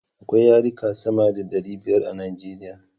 Akwai yarika sama da ɗari biyar a Nijeriya